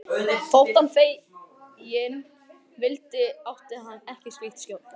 Þótt hann feginn vildi átti hann ekki slíkt skjól.